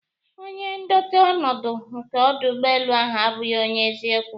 onye ndote ọnọdụ nke ọdụ ụgbọelu ahụ abụghị onye eziokwu